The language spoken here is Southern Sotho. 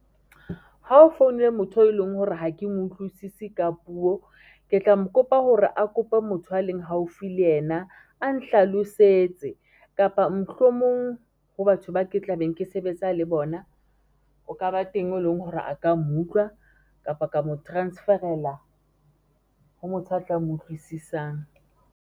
Ha o foune motho e leng hore ha ke mo utlwisisi ka puo, ke tla mo kopa hore a kope motho a leng haufi le yena a nhlalosetse. Kapa mohlomong ho batho ba ke tla beng ke sebetsa le bona o ka ba teng e leng hore a ka mo utlwa kapa ka mo transferela ho motho a tla mo utlwisisang.